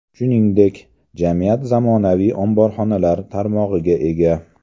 Shuningdek, jamiyat zamonaviy omborxonalar tarmog‘iga ega.